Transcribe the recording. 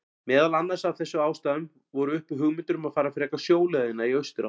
Meðal annars af þessum ástæðum voru uppi hugmyndir um að fara frekar sjóleiðina í austurátt.